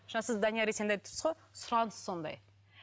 жаңа сіз данияр есенді айтып тұрсыз ғой сұраныс сондай